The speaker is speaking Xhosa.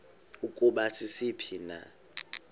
ukuba sisiphi na